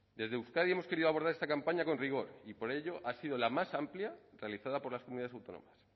desde euskadi hemos querido abordar esta campaña con rigor y por ello ha sido la más amplia realizada por las comunidades autónomas